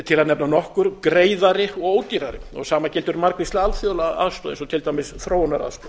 til að nefna nokkur greiðari og ódýrari sama gildir um margvíslega alþjóðlega aðstoð eins og til dæmis þróunaraðstoð